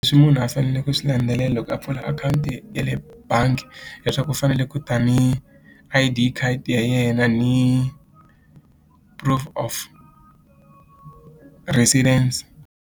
Leswi munhu a fanele ku swi landzelela loko a pfula akhawunti ya le bangi hileswaku u fanele ku tani I_D card ya yena ni proof of residence.